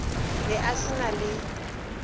be a se na le